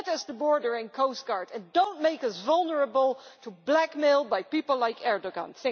get us the border and coastguard, and do not make us vulnerable to blackmail by people like Erdoğan.